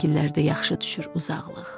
Şəkillərdə yaxşı düşür uzaqlıq.